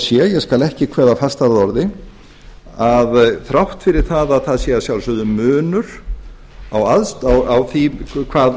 sé ég skal ekki kveða fastar að orði að þrátt fyrir að það sé að sjálfsögðu munur á því